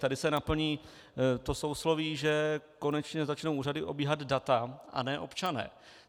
Tady se naplní to sousloví, že konečně začnou úřady obíhat data, a ne občané.